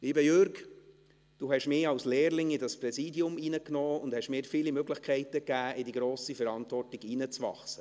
Lieber Jürg Iseli, Sie haben mich als Lehrling in dieses Präsidium reingenommen und haben mir viele Möglichkeiten gegeben, in diese grosse Verantwortung hineinzuwachsen.